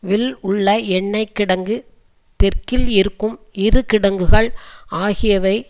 will உள்ள எண்ணெய் கிடங்கு தெற்கில் இருக்கும் இரு கிடங்குகள் ஆகியவை